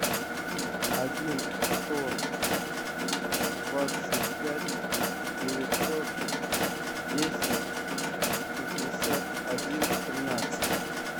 один сто двадцать пять девятьсот десять пятьдесят один тринадцать